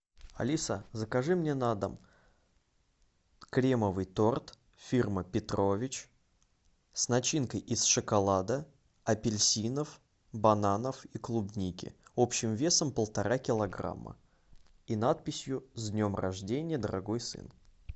алиса закажи мне на дом кремовый торт фирмы петрович с начинкой из шоколада апельсинов бананов и клубники общим весом полтора килограмма и надписью с днем рождения дорогой сын